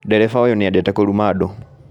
Ndereba ũyũ nĩendete kũruma andũ